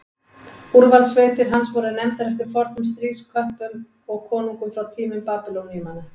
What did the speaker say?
Úrvalssveitir hans voru nefndar eftir fornum stríðsköppum og konungum frá tímum Babýloníumanna.